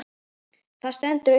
Það stendur upp úr.